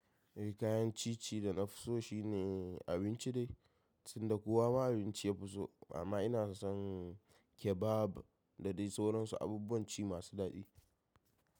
Eh kayan ciye-ciye da na fi so shine abinci dai, tinda kowa ma abinci ya fi so. Amma ina son kebab da dai sauransu abubuwan ci masu daɗi.